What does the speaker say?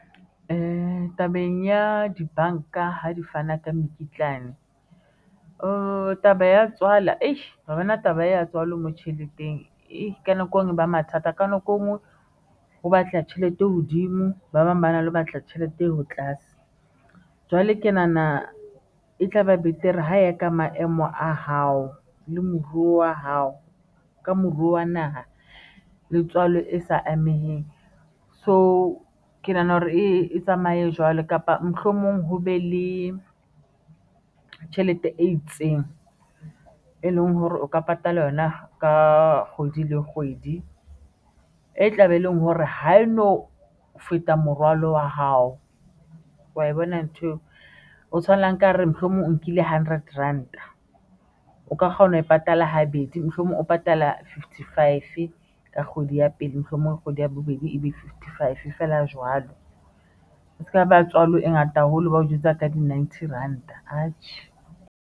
Tabeng ya dibanka ha di fana ka mokitlane oo taba ya tswala a ha bana. Taba ya tswalo enngwe tjheleteng e ka nako enngwe e ba mathata ka nako engwe ho batla tjhelete e hodimo ba bang ba na le batla tjhelete eo ho tlase jwale ke nahana e tla ba betere ho ya ka maemo a hao le moruo wa hao ka moruo wa naha letswalo e sa ameheng so ke nahana hore e tsamaye jwalo kapa mohlomong ho be le tjhelete e itseng e leng hore o ka patala yona ka kgwedi le kgwedi e tlabe, e leng hore ha e no feta morwalo wa hao wa bona. Ntho eo o tshwanela nkare mohlomong o nkile hundred ranta o ka kgona ho e patala habedi, mohlomong o patala. Fifty five ka kgwedi ya pele, mohlomong kgwedi ya bobedi e be fifty, five feela jwalo. O se ka ba tswalo e ngata haholo bao jwetsa ka di ninety ranta atjhe.